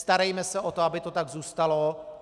Starejme se o to, aby to tak zůstalo.